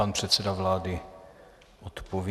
Pan předseda vlády odpoví.